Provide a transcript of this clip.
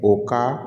O ka